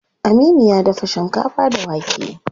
Aminu ya dafa shinkafa da wake.